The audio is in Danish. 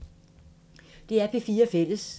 DR P4 Fælles